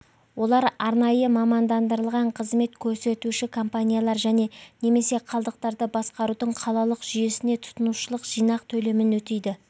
олар арнайы мамандандырылған қызмет көрсетуші компаниялар және немесе қалдықтарды басқарудың қалалық жүйесіне тұтынушылық жинақ төлемін өтейді